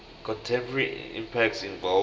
contemporary impacts involve